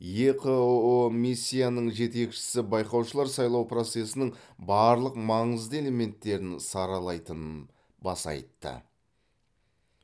еқыұ миссияның жетекшісі байқаушылар сайлау процесінің барлық маңызды элементтерін саралайтынын баса айтты